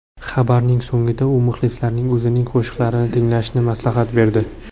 Xabari so‘ngida u muxlislariga o‘zining qo‘shiqlarini tinglashni maslahat berdi.